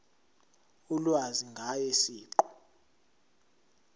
ulwazi ngaye siqu